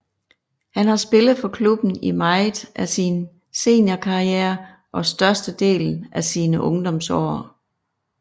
Han har spillet for klubben i meget af sin seniorkarriere og størstedelen af sine ungdomsår